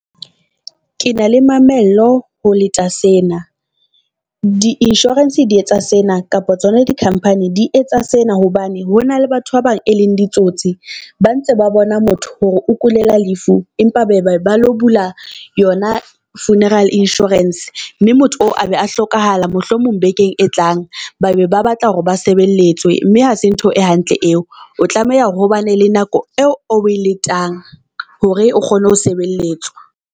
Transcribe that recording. Ke na le mamello ho leta sena, di insurance di etsa sena kapa tsona di-company di etsa sena hobane hona le batho ba bang e leng ditsotsi. Ba ntse ba bona motho hore o kulela lefu, empa ba lo bula yona funeral insurance mme motho oo a be a hlokahala. Mohlomong bekeng e tlang babe ba batla hore ba sebelletswe, mme ha se ntho e hantle eo o tlameha hore hobane le nako eo o e letang hore o kgone ho sebeletswa.